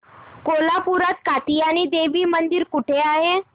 कोल्हापूरात कात्यायनी देवी मंदिर कुठे आहे